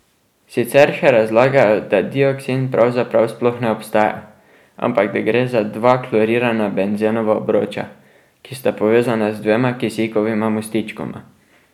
Sicer še razlagajo, da dioksin pravzaprav sploh ne obstaja, ampak da gre za dva klorirana benzenova obroča, ki sta povezana z dvema kisikovima mostičkoma.